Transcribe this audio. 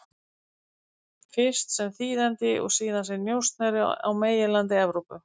Fyrst sem þýðandi og síðan sem njósnari á meginlandi Evrópu.